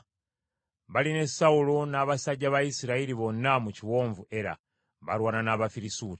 Bali ne Sawulo n’abasajja ba Isirayiri bonna mu kiwonvu Era, balwana n’Abafirisuuti.”